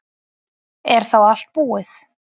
Er þá allt búið?